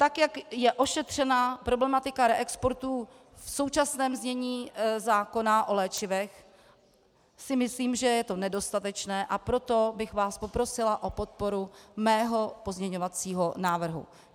Tak jak je ošetřena problematika reexportů v současném znění zákona o léčivech, si myslím, že je to nedostatečné, a proto bych vás poprosila o podporu mého pozměňovacího návrhu.